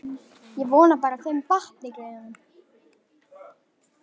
Ég vona bara að þeim batni, greyjunum.